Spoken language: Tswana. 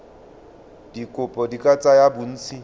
dikopo di ka tsaya bontsi